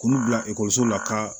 K'olu bila ekɔliso la ka